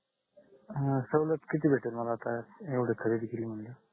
अं सवलत किती भेटेल मला आता येवड खरेदी केली म्हणल